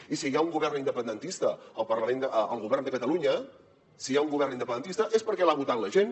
i si hi ha un govern independentista al govern de catalunya si hi ha un govern independentista és perquè l’ha votat la gent